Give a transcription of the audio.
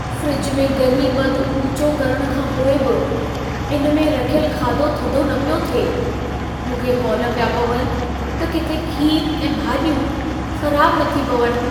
Fridge में गर्मीपद ऊचो करण खां पोइ बि इन में रखियल खाधो थधो न पियो थिए। मूंखे हौल पिया पवनि त किथे खीर ऐं भाॼियूं ख़राब न थी पवनि।